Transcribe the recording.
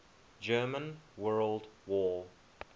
german world war